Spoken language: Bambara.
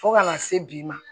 Fo kana se bi ma